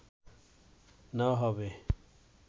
নেওয়া হবে